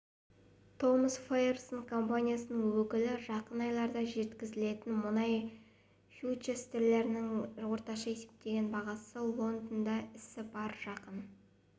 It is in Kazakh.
томас файерсон компаниясының өкілі жақын айларда жеткізілетін мұнай фьючерстерінің орташа есептеген бағасы лондонда ісі барр жақын